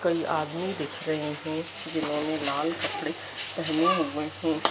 कई आदमी दिख रहे है जिन्होंने मॉल कपड़े पहने हुए है।